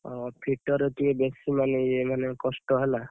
ଓହୋ! fitter ରେ ଟିକେ ବେଶୀ! ମାନେ ଇଏ ମାନେ କଷ୍ଟ ହେଲା।